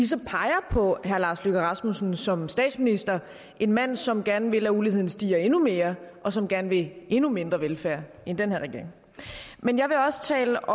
så peger på herre lars løkke rasmussen som statsminister en mand som gerne vil at uligheden stiger endnu mere og som gerne vil endnu mindre velfærd end den her regering men jeg vil også tale